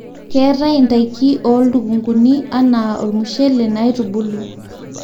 keetae ntaiki oo lukunkuni anaa olmushele naaitubulu